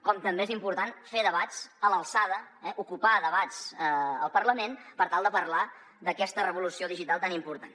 com també és important fer debats a l’alçada eh ocupar debats al parlament per tal de parlar d’aquesta revolució digital tan important